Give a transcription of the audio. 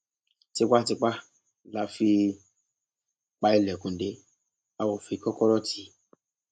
tipàtìpá la fi pa ilẹkùn dé a ó fi kọkọrọ tì í